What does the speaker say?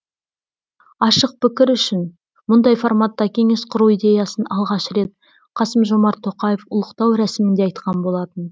ашық пікір үшін мұндай форматта кеңес құру идеясын алғаш рет қасым жомарт тоқаев ұлықтау рәсімінде айтқан болатын